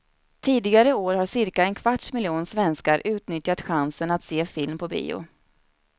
Tidigare år har cirka en kvarts miljon svenskar utnyttjat chansen att se film på bio.